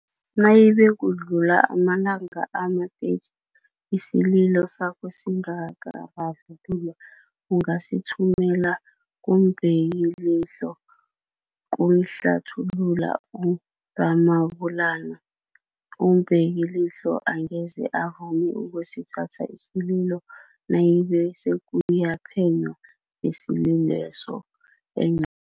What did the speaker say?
Nayibe kudlula amalanga ama-30 isililo sakho singakararululwa, ungasithumela kumBekilihlo, kukhlathulula u-Ramabulana. UmBekilihlo angeze avume ukusithatha isililo nayibe sekuyaphenywa ngesililweso engce